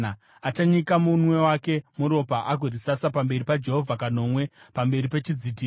Achanyika munwe wake muropa agorisasa pamberi paJehovha kanomwe, pamberi pechidzitiro.